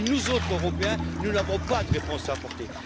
Et nous autres Européens, nous n'avons pas de réponse à apporter.